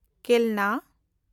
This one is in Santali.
ᱠᱮᱞᱱᱟ